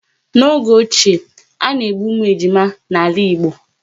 N'oge ochie, a na-egbu ụmụ ejima n'ala Igbo